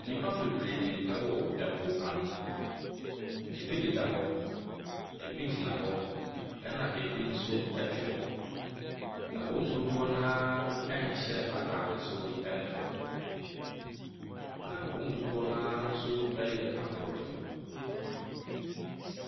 Nnipa bebree wɔ po ano. Ɛbi deda hɔ, ɛbi gyina hɔ na bi nso te hɔ. Na wɔn mu dodoɔ no ara ɛnhyɛ ataade soro ne famu. Na wɔn mu dodoɔ no ara nso yɛ aborɔfo.